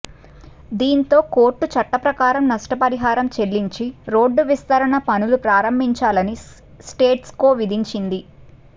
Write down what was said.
దీంతో కోర్టు చట్ట ప్రకారం నష్టపరిహారం చెల్లించి రోడ్డు విస్తరణ పనులు ప్రారంభించాలని స్టేటస్కో విధించింది